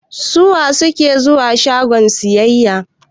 Suwa suka fi zuwa shaguna sayayya?